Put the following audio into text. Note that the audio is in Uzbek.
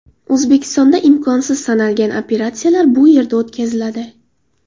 O‘zbekistonda imkonsiz sanalgan operatsiyalar bu yerda o‘tkaziladi.